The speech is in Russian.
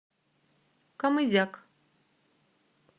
камызяк